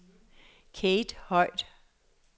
Kate Høj